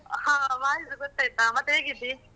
ಹ voice ಗೊತ್ತಾಯ್ತು ಮತ್ತೆ ಹೇಗಿದ್ದೀ?